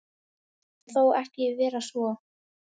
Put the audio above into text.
Það mun þó ekki vera svo.